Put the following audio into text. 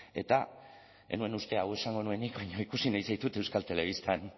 eta ez nuen uste hau esango nuenik baina ikusi nahi zaitut euskal telebistan